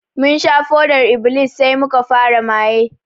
Mun sha fodar -iblis sai muka fara maye